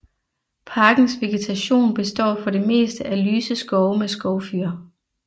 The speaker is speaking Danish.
Parkens vegetation består for det meste af lyse skove med skovfyr